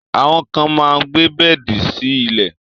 Àwọn kan máa gbé bẹ́ẹ̀di sí ilẹ̀